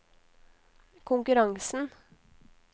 konkurransen